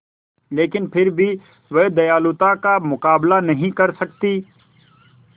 लेकिन फिर भी वह दयालुता का मुकाबला नहीं कर सकती